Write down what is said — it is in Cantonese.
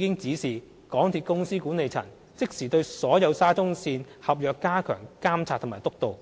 已指示港鐵公司管理層即時對所有沙中線合約加強監察及督導。